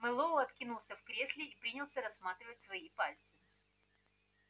мэллоу откинулся в кресле и принялся рассматривать свои пальцы